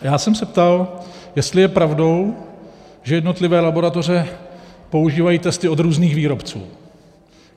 Já jsem se ptal, jestli je pravdou, že jednotlivé laboratoře používají testy od různých výrobců.